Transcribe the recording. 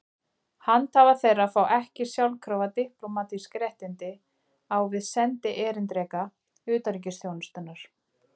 Handhafar þeirra fá ekki sjálfkrafa diplómatísk réttindi á við sendierindreka utanríkisþjónustunnar.